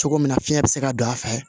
Cogo min na fiɲɛ bɛ se ka don a fɛ